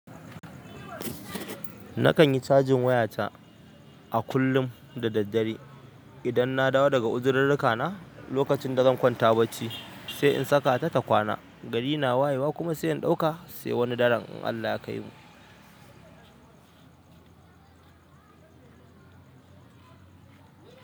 Nakan yi cajin wayata a kullum da daddare idan na dawo daga uzirirrika na lokacin da zan kwanta bacci sai in saka ta ta kwana. Gari na wayewa kuma sai in ɗauka sai wani daren in Allah ya kaimu.